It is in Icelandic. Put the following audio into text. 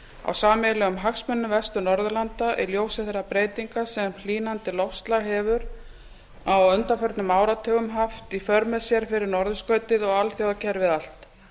á sameiginlegum hagsmunum vestur norðurlanda í ljósi þeirra breytinga sem hlýnandi loftslag hefur á undanförnum áratugum haft í för með sér fyrir norðurskautið og alþjóðakerfið allt